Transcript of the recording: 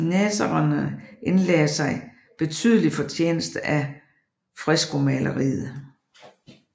Nazarenerne indlagde sig betydelig fortjeneste af freskomaleriet